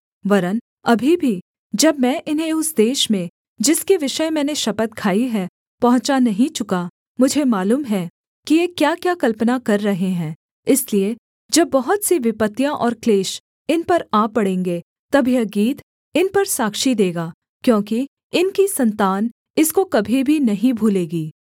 वरन् अभी भी जब मैं इन्हें उस देश में जिसके विषय मैंने शपथ खाई है पहुँचा नहीं चुका मुझे मालूम है कि ये क्याक्या कल्पना कर रहे हैं इसलिए जब बहुत सी विपत्तियाँ और क्लेश इन पर आ पड़ेंगे तब यह गीत इन पर साक्षी देगा क्योंकि इनकी सन्तान इसको कभी भी नहीं भूलेगी